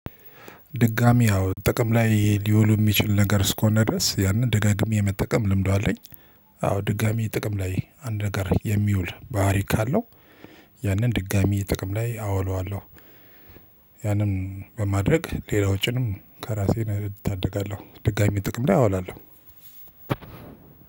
ድጋሚ አዎ ጥቅም ላይ ሊውሉ የሚችል ነገር እስከሆነ ድረስ ያንን ደጋግሜ የመጠቀም ልምዱ አለኝ። አዎ ድጋሚ ጥቅም ላይ አንድ ነገር የሚውል ባህሪ ካለው ያንን ድጋሚ ጥቅም ላይ አውለዋለሁ። ያንን በማድረግ ሌላ ወጭንም ከራሴን እታደጋለሁ ድጋሚ ጥቅም ላይ አውላለሁ።